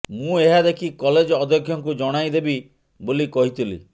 ମୁଁ ଏହା ଦେଖି କଲେଜ ଅଧ୍ୟକ୍ଷଙ୍କୁ ଜଣାଇଦେବି ବୋଲି କହିଥିଲି